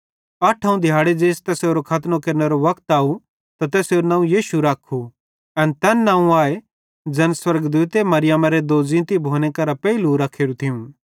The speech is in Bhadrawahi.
अठोवं दिहाड़े ज़ेइस तैसेरो खतनो केरनेरो वक्त अव त तैसेरू नवं यीशु रख्खू एन तैन नवं आए ज़ैन स्वर्गदूते मरियमारे दोज़ींतीए भोने करां पेइले रख्खेरू थियूं